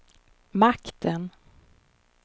makten